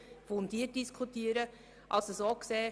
Sie haben den Antrag Machado zu Artikel 41 Absatz 2 abgelehnt.